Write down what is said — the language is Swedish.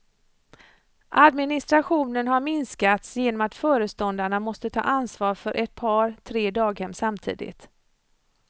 Administrationen har minskats genom att föreståndarna måste ta ansvar för ett par, tre daghem samtidigt.